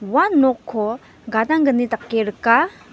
ua nokko gadanggni dake rika.